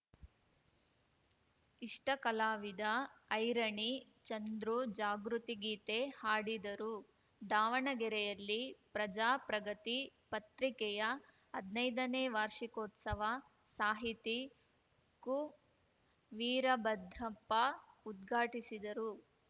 ಇಷ್ಟ ಕಲಾವಿದ ಐರಣಿ ಚಂದ್ರು ಜಾಗೃತಿ ಗೀತೆ ಹಾಡಿದರು ದಾವಣಗೆರೆಯಲ್ಲಿ ಪ್ರಜಾಪ್ರಗತಿ ಪತ್ರಿಕೆಯ ಹದ್ನೈದನೇ ವಾರ್ಷಿಕೋತ್ಸವ ಸಾಹಿತಿ ಕುವೀರಭದ್ರಪ್ಪ ಉದ್ಘಾಟಿಸಿದರು